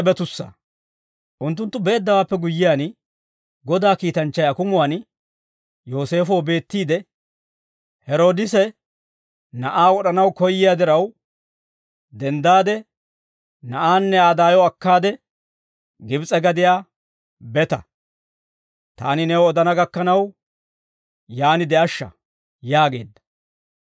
Unttunttu beeddawaappe guyyiyaan, Godaa kiitanchchay akumuwaan Yooseefoo beettiide, «Heroodise na'aa wod'anaw koyyiyaa diraw, denddaade na'aanne Aa daayo akkaade Gibs'e gadiyaa beta; taani new odana gakkanaw, yaan de'ashsha» yaageedda.